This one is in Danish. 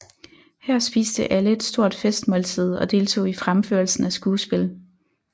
Her spiste alle et stort festmåltid og deltog i fremførelsen af skuespil